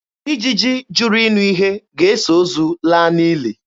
Ijiji jụrụ ịnụ ihe ga-eso ozu laa n'ili.